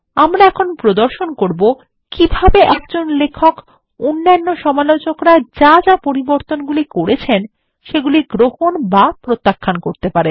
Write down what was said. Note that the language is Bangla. আমরা এখন প্রদর্শন করব কিভাবে লেখক সমালোচকরা যা যা পরিবর্তনগুলি করেছেন তা গ্রহণ বা প্রত্যাখ্যান করতে পারেন